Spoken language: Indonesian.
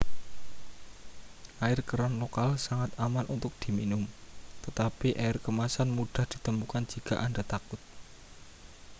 air keran lokal sangat aman untuk diminum tetapi air kemasan mudah ditemukan jika anda takut